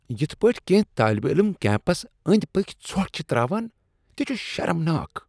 یتھ پٲٹھۍ کینٛہہ طٲلب علم کیمپسس أنٛدۍ پٔکۍ ژھۄٹھ چھ ترٛاوان، تہ چھ شرمناک۔